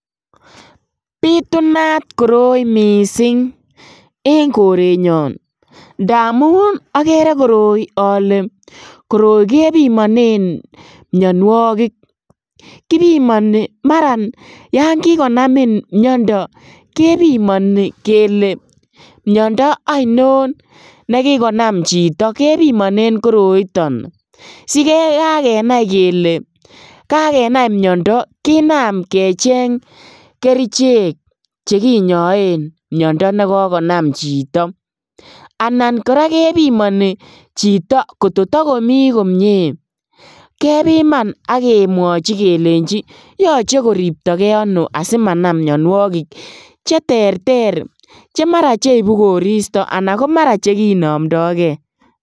Bitunat koroi misink en korenyon ndamun okere koroi ole koroi kebimonen mionuokik, kibimoni maran yon kikonamin miondo kebimoni kele miondo oino nekikonam chito kebimonen koroiton siyekakenai kele kakenai miondo kinam kecheng kerichek che kinyoen miondo nekokonam chito, anan koraa kebimoni chito kototokomi komie kebiman ak kemwochi kelenchin yoche koriopto gee ono asimanam mionuokik cheterter chemara cheibu koristo ana komara chekinomdo kee.